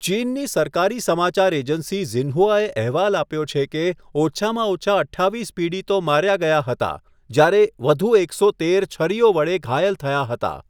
ચીનની સરકારી સમાચાર એજન્સી ઝિન્હુઆએ અહેવાલ આપ્યો છે કે, ઓછામાં ઓછા અઠ્ઠાવીસ પીડિતો માર્યા ગયા હતા, જ્યારે વધુ એકસો તેર છરીઓ વડે ઘાયલ થયા હતા.